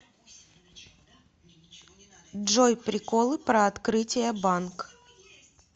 джой приколы про открытие банк